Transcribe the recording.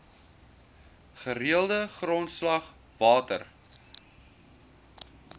gereelde grondslag water